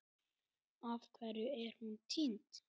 Af hverju er hún týnd?